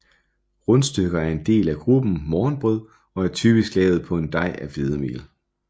Rundstykker er en del af gruppen morgenbrød og er typisk lavet på en dej af hvedemel